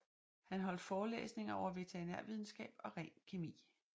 Han holdt forelæsninger over veterinærvidenskab og ren kemi